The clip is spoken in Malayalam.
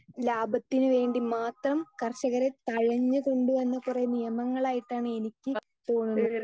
സ്പീക്കർ 2 ലാഭത്തിന് വേണ്ടി മാത്രം കർഷകരെ തഴഞ്ഞ് കൊണ്ടുവന്ന കൊറേ നിയമങ്ങളായിട്ടാണ് എനിക്ക് തോന്നുന്നത്